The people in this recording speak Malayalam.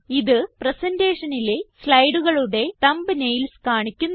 ഇത് presentationലെ സ്ലൈഡുകളുടെ തംബ്നെയിൽസ് കാണിക്കുന്നു